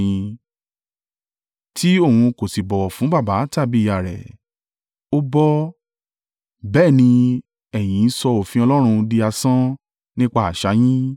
tí Òun kò sì bọ̀wọ̀ fún baba tàbí ìyá rẹ̀, ó bọ́; bẹ́ẹ̀ ni ẹ̀yin sọ òfin Ọlọ́run di asán nípa àṣà yín.